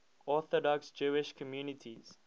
orthodox jewish communities